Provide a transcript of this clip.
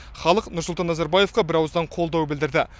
халық нұрсұлтан назарбаевқа бірауыздан қолдау білдірді